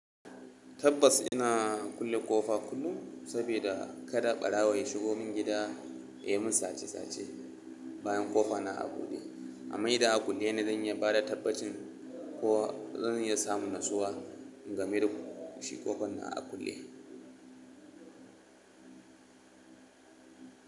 Tabbas ina kulle ƙofa kullum saboda kada ɓarawo ya shigo min gida ya yi mun sache sache bayan ƙofa na a buɗe amma idan a kulle ne zan iya bada tabbacin ko zan iya samun natsuwa game da koshi ƙofar na a kulle.